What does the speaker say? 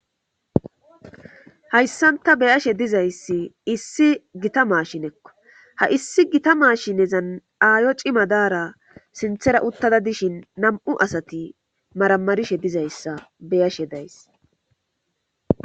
hayssanta beyashe dizayssi issi gita maashinekko ha issi gita maashinezan aayo cima daara sinthera uttada dishin nam7u asati maramarishe dizayssa beyashe days